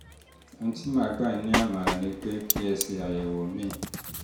ohun tí màá gbà yín nímọ̀ràn ni pé kẹ́ ẹ ṣe àyẹ̀wò mri